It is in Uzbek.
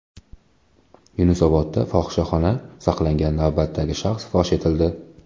Yunusobodda fohishaxona saqlagan navbatdagi shaxs fosh etildi.